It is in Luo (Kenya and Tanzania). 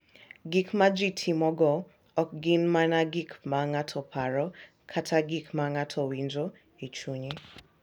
Gik ma ji timogo ok gin mana gik ma ng’ato paro kata gik ma ng’ato winjo e chunye.